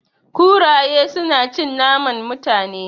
Kuraye su na cin naman Mutane